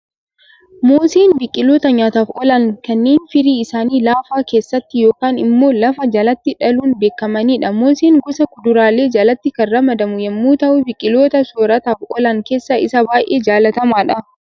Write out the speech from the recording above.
Mooseen biqiloota nyaataaf oolan kanneen firii isaanii lafa keessatti yookaan immoo lafa jalatti dhaluun beekamanidha. Mooseen gosa kuduraalee jalatti kan ramadamu yemmuu ta'u, biqiloota soorrataaf oolan keessaa isa baayyee jaalatamaadha.